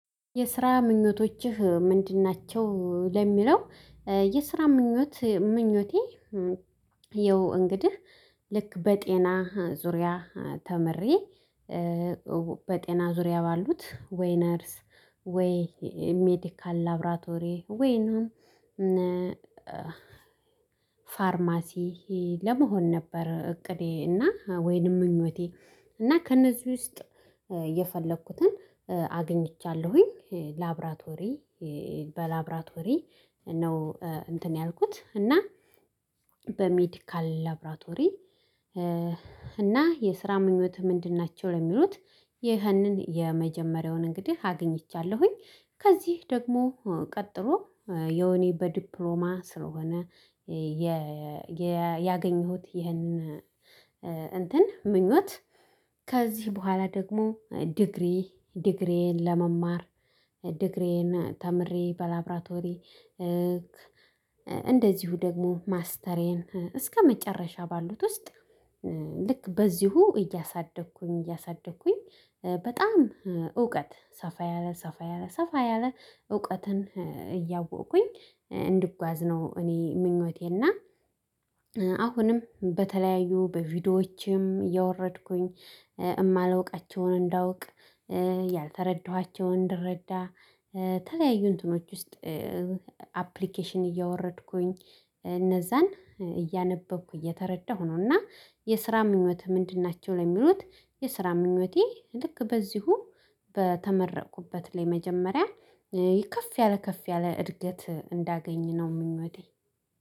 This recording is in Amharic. የስራ ምኞቶችህ ምንድን ናቸው ለሚለው? የስራ ምኞት ምኞቴ። የው እንግዲህ ልክ በጤና ዙሪያ ተምሬ። በጤና ዙሪያ ባሉት ወይ ነርስ ወይ ሜዲካል ላብራቶሪ ወይ ነው። እና ፋርማሲ ለመሆን ነበር እቅዴ እና ወይንም ምኞቴ። እና ከእነዚህ ውስጥ የፈለኩትን አግኝቻለሁኝ ላብራቶሪ በላብራቶሪ ነው እንትን ያልኩት እና በሜዲካል ላብራቶሪ። እና የስራ ምኞት ምንድን ናቸው ለሚሉት? ይህንን የመጀመሪያውን እንግዲህ አግኝቻለሁኝ። ከዚህ ደግሞ ቀጥሎ ያው እኔ በዲፕሎማ ስለሆነ ያገኘሁት ይህንን እንትን ምኞት። ከዚህ በኋላ ደግሞ ዲግሪ ዲግሪዬን ለመማር ዲግሪዬን ተምሬ በላብራቶሪ። እንደዚሁ ደግሞ ማስተርዬን እስከመጨረሻ ባሉት ውስጥ። ልክ በዚሁ እያሳደግኩኝ እያሳደግኩኝ በጣም እውቀት ሰፋ ያለ ሰፋ ያለ ሰፋ ያለ እውቀትን እያወቅኩኝ እንድጓዝ ነው እኔ ምኞቴና። አሁንም በተለያዩ በቪዲዮዎቼም እየወረድኩኝ የማልውቃቸውን እንዳውቅ ያልተረዳኋቸውን እንድረዳ ተለያዩ እንትኖች ውስጥ አፕሊኬሽን እያወረድኩኝ እነዛን እያነበብኩ እየተረዳሁ ነው። እና የስራ ምኞት ምንድን ናቸው ለሚሉት? የስራ ምኞቴ ልክ በዚሁ በተመረኩበት ላይ መጀመሪያ ከፍ ያለ ከፍ ያለ እድገት እንዳገኘነው ምኞቴ።